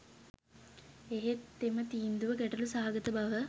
එහෙත් එම තීන්දුව ගැටළු සහගත බව